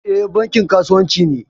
E, Banki kasuwanci ne.